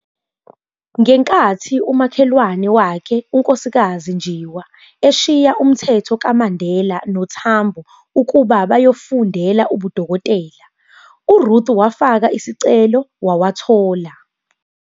Ngenkathi umakhelwane wakhe, uNkk Njiwa, eshiya umthetho kaMandela noTambo ukuba bayofundela ubudokotela, uRuth wafaka isicelo wawathola.